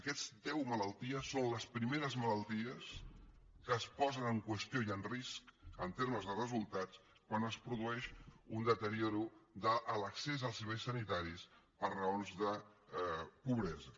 aquestes deu malalties són les primeres malalties que es posen en qüestió i en risc en termes de resultats quan es produeix un deteriorament de l’accés als serveis sanitaris per raons de pobresa